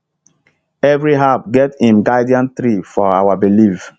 every herb get im guardian tree for our belief